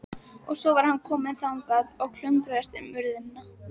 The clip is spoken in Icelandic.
Og svo var hann kominn þangað og klöngraðist um urðina.